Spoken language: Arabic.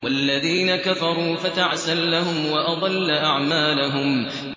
وَالَّذِينَ كَفَرُوا فَتَعْسًا لَّهُمْ وَأَضَلَّ أَعْمَالَهُمْ